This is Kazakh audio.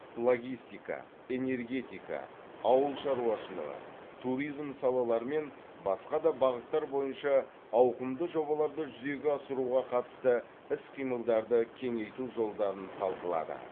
логистика энергетика ауыл шаруашылығы туризм салалары мен басқа да бағыттар бойынша ауқымды жобаларды жүзеге асыруға қатысты іс қимылдарды кеңейту жолдарын талқылады